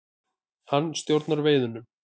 Hann stjórnar veiðunum.